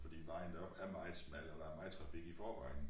Fordi vejen deroppe er meget smal og der er meget trafik i forvejen